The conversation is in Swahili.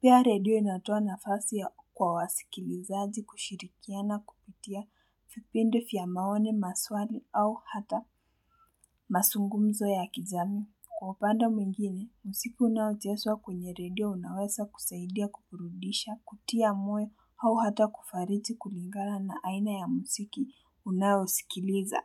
Pia radio inatoa nafasi ya kwa wasikilizaji kushirikia na kuputia, vipindi vya maoni, maswali au hata mazungumzo ya kijamii. Kwa upande mwingine, muziki unaucheswa kwenye radio unawesa kusaidia kuburudisha, kutia moyo au hata kufarichi kulingala na aina ya muziki unausikiliza.